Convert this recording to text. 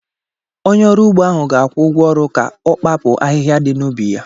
Onye ọrụ ugbo ahụ ga-akwụ ụgwọ ọrụ ka ọ kpapu ahịhịa di na ubi ya.